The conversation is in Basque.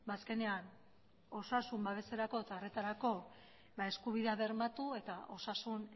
azkenean osasun babeserako eta horretarako eskubide bermatu eta osasun